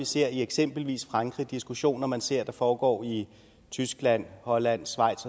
ser i eksempelvis frankrig diskussioner man ser der foregår i tyskland holland schweiz